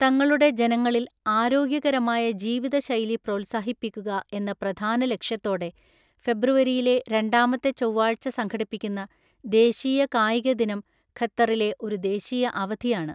തങ്ങളുടെ ജനങ്ങളില്‍ ആരോഗ്യകരമായ ജീവിതശൈലി പ്രോത്സാഹിപ്പിക്കുക എന്ന പ്രധാന ലക്ഷ്യത്തോടെ ഫെബ്രുവരിയിലെ രണ്ടാമത്തെ ചൊവ്വാഴ്ച സംഘടിപ്പിക്കുന്ന ദേശീയ കായിക ദിനം ഖത്തറിലെ ഒരു ദേശീയ അവധിയാണ്.